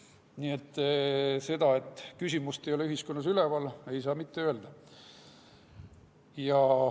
Nii et seda, et küsimus ei ole ühiskonnas üleval, ei saa mitte öelda.